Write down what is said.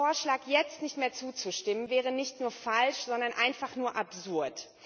Dem Vorschlag jetzt nicht mehr zuzustimmen, wäre nicht nur falsch, sondern einfach nur absurd.